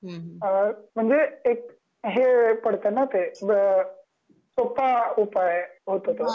ते सगळ म्हणजे एक जे पड़त ना ते सोप्पा उपाय आहे होतो तो